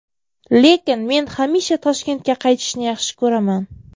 Lekin men hamisha Toshkentga qaytishni yaxshi ko‘raman.